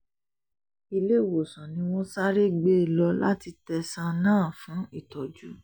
iléewòsàn ni wọ́n sáré gbé e lọ láti tẹ̀sán náà fún ìtọ́jú